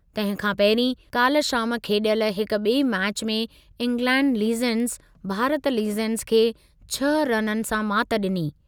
तंहिं खां पहिरीं, काल्ह शाम खेॾियल हिकु ॿिएं मैचु में इंग्लैण्ड लीजेंड्स भारत लीजेंड्स खे छह रननि सां मात ॾिनी।